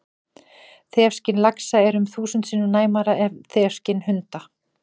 Þefskyn laxa er um þúsund sinnum næmara en þefskyn hunda!